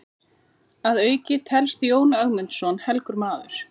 Að auki telst Jón Ögmundsson helgur maður.